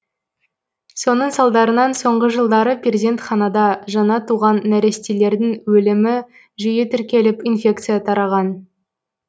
соның салдарынан соңғы жылдары перзентханада жаңа туған нәрестелердің өлімі жиі тіркеліп инфекция тараған